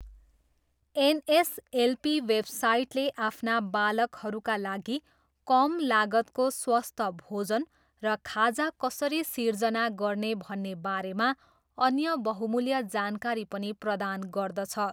NSLP वेबसाइटले आफ्ना बालकहरूका लागि कम लागतको स्वस्थ भोजन र खाजा कसरी सिर्जना गर्ने भन्ने बारेमा अन्य बहुमूल्य जानकारी पनि प्रदान गर्दछ।